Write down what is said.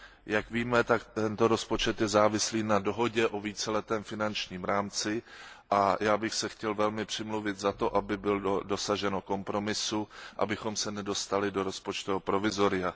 Jak víme, tak tento rozpočet je závislý na dohodě o víceletém finančním rámci, a já bych se chtěl velmi přimluvit za to, aby bylo dosaženo kompromisu, abychom se nedostali do rozpočtového provizoria.